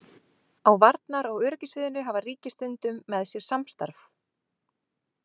Á varnar- og öryggissviðinu hafa ríki stundum með sér samstarf.